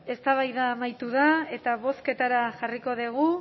eztabaida amaitu da eta bozketara jarriko dugu